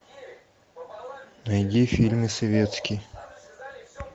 найди фильмы советский